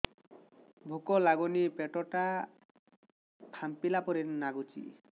ଭୁକ ଲାଗୁନି ପେଟ ଟା ଫାମ୍ପିଲା ପରି ନାଗୁଚି